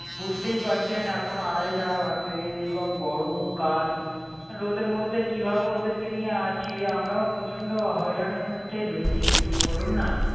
বুঝতেই পারছেন এখন আড়াইটে বাজে এবং গরমকাল। রোদের মধ্যে কিভাবে ওদেরকে নিয়ে আছি, আমরাও প্রচণ্ড হয়রানের মধ্যেই রয়েছি। একটু বলুন না